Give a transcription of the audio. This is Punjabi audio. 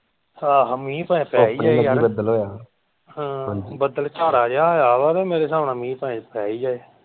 ਆਹੋ ਮੀਂਹ ਭਾਵੇਂ ਪੈ ਬਦਲ ਭਾਰਾ ਜਿਹਾ ਹੋਇਆ ਵਾ ਮੇਰੇ ਹਿਸਾਬ ਨਾਲ ਮੀਂਹ ਭਾਵੇਂ ਪੈ ਹੀ ਜਾਏ।